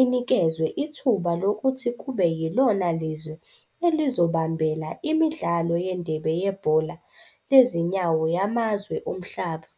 inikezwe ithuba lokuthi kube yilona lizwe elizobambela imidlalo yendebe yebhola lezinyawo yamazwe omhlaba.